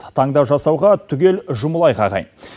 таңдау жасауға түгел жұмылайық ағайын